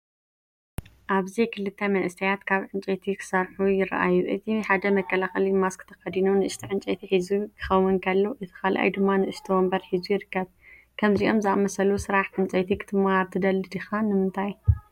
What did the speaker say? ኣብዚ ክልተ መንእሰያት ኣብ ዕንጨይቲ ክሰርሑ ይረኣዩ። እቲ ሓደ መከላኸሊ ማስክ ተኸዲኑ ንእሽቶ ዕንጨይቲ ሒዙ ክኸውን ከሎ፡ እቲ ካልኣይ ድማ ንእሽቶ መንበር ሒዙ ይርከብ። ከምዚኦም ዝኣመሰሉ ስራሕ ዕንጨይቲ ክትመሃር ትደሊ ዲኻ? ንምንታይ?